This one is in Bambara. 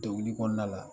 Degun kɔnɔna la